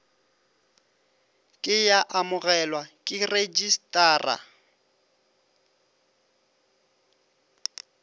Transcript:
ke ya amogelwa ke rejistrara